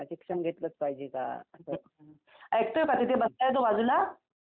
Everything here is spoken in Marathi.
हो यात्रा होती